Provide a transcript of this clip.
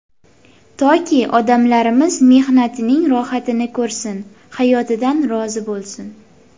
Toki odamlarimiz mehnatining rohatini ko‘rsin, hayotidan rozi bo‘lsin.